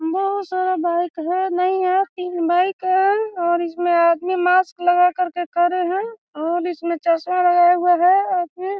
बहुत सारा बाइक है नहीं है तीन बाइक है और इसमें आदमी मास्क लगाकर के खड़े है और इसमें चस्मा लगाए हुए है और फिर --